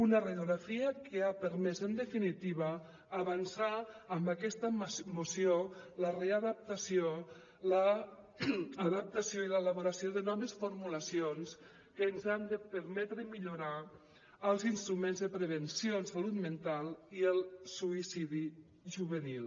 una radiografia que ha permès en definitiva avançar amb aquesta moció la readaptació l’adaptació i l’elaboració de noves formulacions que ens han de permetre millorar els instruments de prevenció en salut mental i el suïcidi juvenil